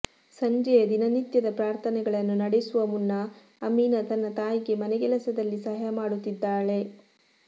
ಸಂಜೆಯ ದಿನನಿತ್ಯದ ಪ್ರಾರ್ಥನೆಗಳನ್ನು ನಡೆಸುವ ಮುನ್ನ ಅಮೀನಾ ತನ್ನ ತಾಯಿಗೆ ಮನೆಗೆಲಸದಲ್ಲಿ ಸಹಾಯ ಮಾಡುತ್ತಿದ್ದಾಳೆ